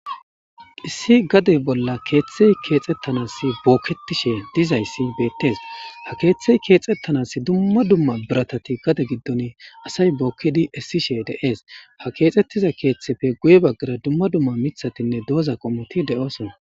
issi gade bolla keeththey keexettanas bookketishe dizayssi beettees ha keeththey keexxettanas dumma dumma biratati gade giddon asay bookkidi issishe de7ees ha keexxettiza keeththefe guye baggara dumma dumma mithatinne dooza qomoti de7osona